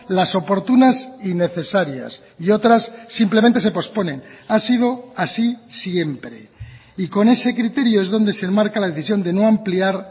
las oportunas y necesarias y otras simplemente se posponen ha sido así siempre y con ese criterio es donde se enmarca la decisión de no ampliar